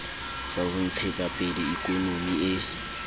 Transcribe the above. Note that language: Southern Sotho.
sa ho ntshetsapele ikonomi e